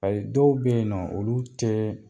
Ayi dɔw be yen nɔ olu te